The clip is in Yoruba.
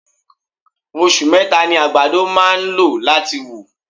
Osù meta ni àgbàdo máa ń lò láti wù.